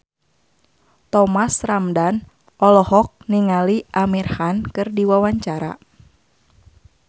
Thomas Ramdhan olohok ningali Amir Khan keur diwawancara